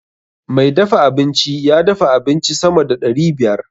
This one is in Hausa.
Mai dafa abinci ya dafa abinci sama da ɗari biyar.